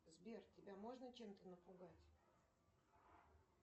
сбер тебя можно чем то напугать